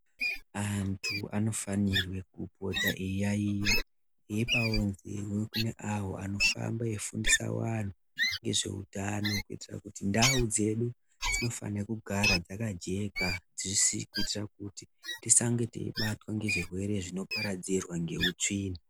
Antu anofanirwe kupota eiyaiya eipawo nzewe kune avo vanofamba eifundisa vantu ngezveutano kuitira kuti ndau dzedu dzinofanire kugara dzakajeka dzisi kuitira kuti tisange teibatwa ngezvirwere zvinoparadzirwa ngeutsvina.